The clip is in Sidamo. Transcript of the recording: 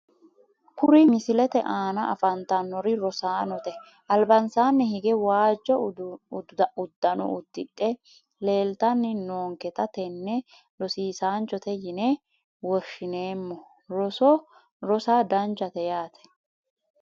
Kuri misilete aana afantannori rosaanote albansaanni higge waajjo uddano uddidhe leeltanni noonketa tenne rosiisaanchote yine woshshineemmo roso rosa danchate yaate